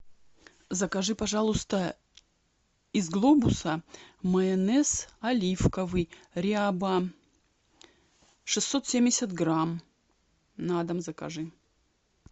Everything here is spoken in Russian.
закажи пожалуйста из глобуса майонез оливковый ряба шестьсот семьдесят грамм на дом закажи